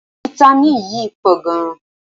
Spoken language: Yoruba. Fítámìn yíí pọ̀ gan.